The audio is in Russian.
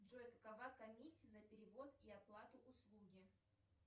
джой какова комиссия за перевод и оплату услуги